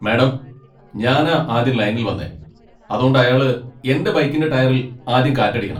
Madam, ഞാനാ ആദ്യം ലൈനിൽ വന്നേ , അതോണ്ട് അയാള് എന്റെ ബൈക്കിന്റെ ടയറിൽ ആദ്യം കാറ്റടിയ്ക്കണം.